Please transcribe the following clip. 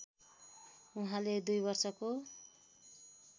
उहाँले २ वर्षको